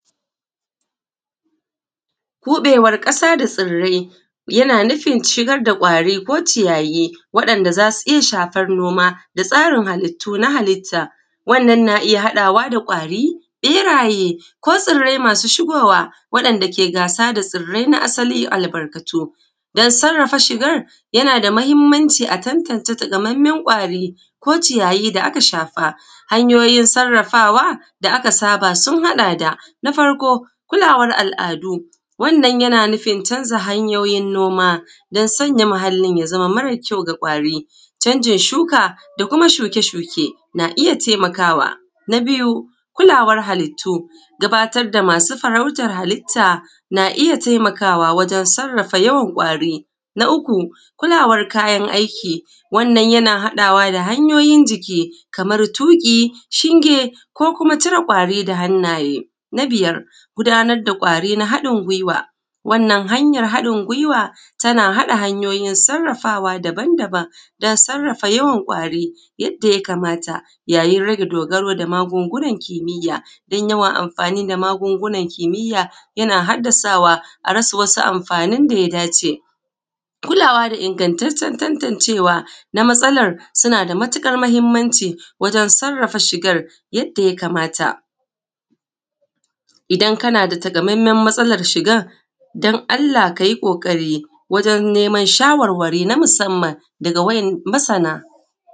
Buɗewar ƙasa da tsirrai yana nufin yana nufin shigar da kwari ko ciyayi, wa’yan’da zasu iyya shafar noma da tsarin halittu na halitta wannan na iyya haɗawa da kwari, ɓeraye ko tsirrai masu shigowa waɗan da ke gasa da tsirrai na asali da albarkatu. Da sarrafa shigan yana da mahimmanci a tantance katamammen kwari ko ciyayi da aka shafa. Hanyoyin sarrafawa da aka saba sun haɗa, da na farko kulawar al’adu wannan yana nufin canza hanyoyi nomadan sanya muhallin ya zama mara kyau ga kwari, canjin shuka da kuma shuke shuke na iyya, na iyya taimakawa. Na biyu kulawar halittu gabatar da masu farautar halitta na iyya taimakawa wajen sarrafa yawan kwari. Na uku kulawar kayan aiki wanna yana haɗawa da hanyoyin jiki kamar tuƙi, shinge, ko kuma cire kwari da hannaye. Na biyar gudanar da kwari na haɗin guiwa, wannan hanyar haɗin guiwa tana haɗa hanyoyin saraffawa, daban daban dan sarrafa yawan kwari yadda ya kamata yayin rage dogaro da magungunan kimiya dan yawan amfani da magungunan kimiya, yana haddasawa a rasa wasu amfanin da ya dace. Kulawa da ingattaccen tantancewa na matsalar nada matuƙar mahimmanci wajen sarrafa shigan yadda ya kamata. Idan kana da taka mammen matsalar shigan dan Allah kayi ƙoƙari wajen neman shawarwari na musamman daga masana.